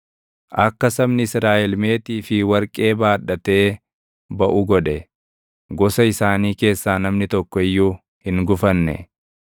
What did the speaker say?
Akka sabni Israaʼel meetii fi warqee baadhatee baʼu godhe; gosa isaanii keessaa namni tokko iyyuu hin gufanne.